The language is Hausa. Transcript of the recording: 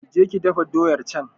Ki je ki dafa doyar can!